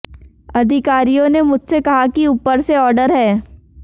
अधिकारियों ने मुझसे कहा कि ऊपर से आॅर्डर है